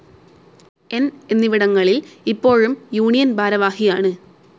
ന്‌ എന്നിവിടങ്ങളിൽ ഇപ്പോഴും യൂണിയൻ ഭാരവാഹിയാണ്.